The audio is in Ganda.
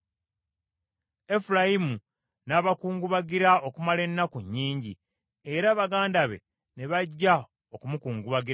Efulayimu n’abakungubagira okumala ennaku nnyingi, era baganda be ne bajja okumukungubagirako.